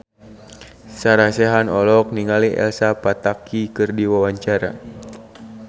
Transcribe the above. Sarah Sechan olohok ningali Elsa Pataky keur diwawancara